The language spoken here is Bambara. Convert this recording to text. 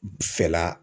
Fɛla la